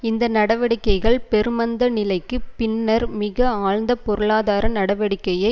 இந்த நடவடிக்கைகள் பெருமந்த நிலைக்கு பின்னர் மிக ஆழ்ந்த பொருளாதார நடவடிக்கையை